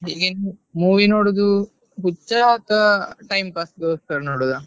Movie ನೋಡುದು ಹುಚ್ಚ ಅಥ್ವಾ time pass ಗೋಸ್ಕರ ನೋಡುದಾ?